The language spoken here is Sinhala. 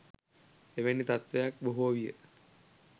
එවැනි තත්ත්වයක් බොහෝ විය